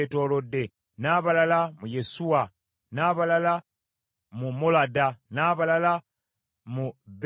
n’abalala mu Yesuwa, n’abalala mu Molada n’abalala mu Besupereti,